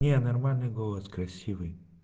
не нормальный голос красивый